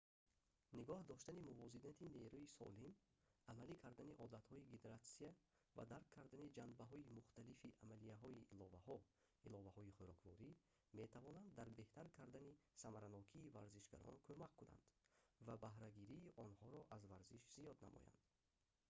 нигоҳ доштани мувозинати нерӯи солим амалӣ кардани одатҳои гидратсия ва дарк кардани ҷанбаҳои мухталифи амалияҳои иловаҳо иловаҳои хӯрокворӣ метавонанд дар беҳтар кардани самаранокии варзишгарон кумак кунанд ва баҳрагирии онҳоро аз варзиш зиёд намоядн